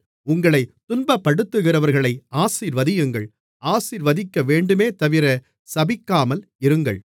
உங்களைத் துன்பப்படுத்துகிறவர்களை ஆசீர்வதியுங்கள் ஆசீர்வதிக்கவேண்டுமேதவிர சபிக்காமல் இருங்கள்